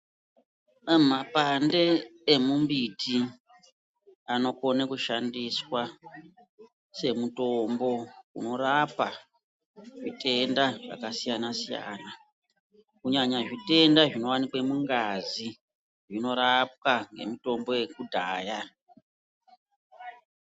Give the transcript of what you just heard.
Mapandd emimbiti anokone kushandiswa semutombo unorapa zvitenda zvakasiyana siyana kunyanya zvitenda zvinowanikwa mungazi zvinorapwa nemutombo yekudhaya.